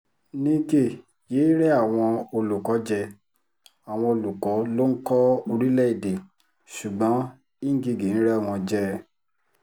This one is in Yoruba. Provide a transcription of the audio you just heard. nígẹ yéé rẹ́ àwọn olùkọ́ jẹ àwọn olùkọ́ ló ń kọ́ orílẹ̀‐èdè ṣùgbọ́n ngige ń rẹ́ wọn jẹ